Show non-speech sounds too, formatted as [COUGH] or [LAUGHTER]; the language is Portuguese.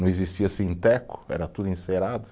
Não existia, [UNINTELLIGIBLE] era tudo encerado.